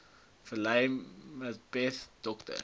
velile mbethe dr